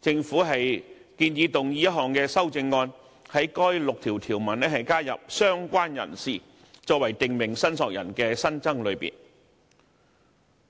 政府建議動議一項修正案，在該第6條條文加入"相關人士"，作為訂明申索人的新增類別。